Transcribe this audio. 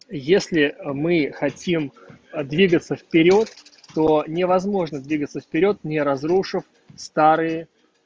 если мы хотим двигаться вперёд то невозможно двигаться вперёд не разрушив старые